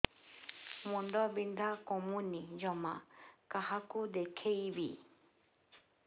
ମୁଣ୍ଡ ବିନ୍ଧା କମୁନି ଜମା କାହାକୁ ଦେଖେଇବି